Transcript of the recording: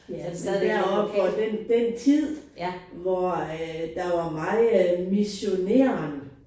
Ja men deroppe fra den den tid hvor at der var meget missioneren